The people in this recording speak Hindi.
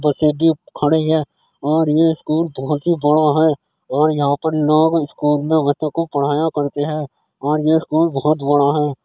बसे भी खड़ी हैं और ये स्कूल बोहोत ही बड़ा है और यहाँ पर लोग स्कूल में बच्चों को पढ़ाया करते हैं और ये स्कूल बोहोत बड़ा है।